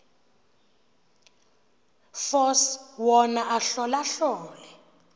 force wona ahlolahlole